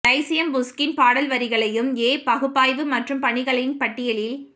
Lyceum Pushkin பாடல் வரிகளையும் ஏ பகுப்பாய்வு மற்றும் பணிகளின் பட்டியலில்